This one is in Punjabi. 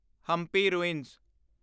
ਹੰਪੀ ਰੂਇੰਸ